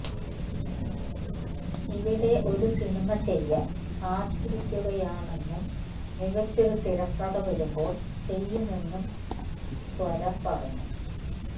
ഇവിടെ ഒരു സിനിമ ചെയ്യാന് കാത്തിരിക്കുകയാണെന്നും മികച്ചൊരു തിരക്കഥ വരുമ്പോള് ചെയ്യുമെന്നും സ്വര പറഞ്ഞു